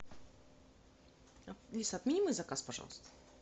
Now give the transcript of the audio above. алиса отмени мой заказ пожалуйста